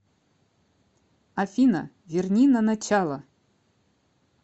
афина верни на начало